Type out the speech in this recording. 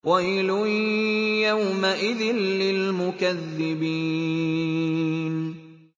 وَيْلٌ يَوْمَئِذٍ لِّلْمُكَذِّبِينَ